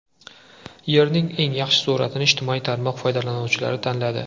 Yerning eng yaxshi suratini ijtimoiy tarmoq foydalanuvchilari tanladi.